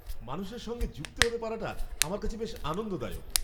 মানুষের সঙ্গে যুক্ত হতে পারাটা আমার কাছে বেশ আনন্দদায়ক।